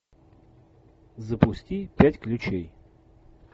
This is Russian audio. запусти пять ключей